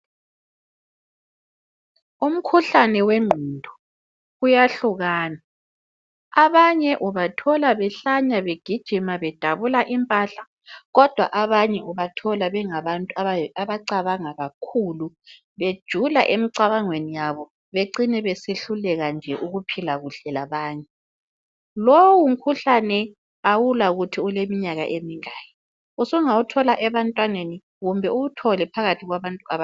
Umkhuhlane wengqondo uyahlukana, abanye ubathola behlanya, Begijima bedabuka impahla, kodwa abanye ubathola bengabantu abacabanga kakhulu, bejula, emcabangweni wabo. Bacine besehluleka ukuphila labanye. Lowu umkhuhlane kawulakuthi uleminyaka emingaki, Usungawuthola ebantwaneni, kumbe uwuthole nje phakathi kwabantu abadala.